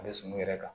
A bɛ sumun yɛrɛ kan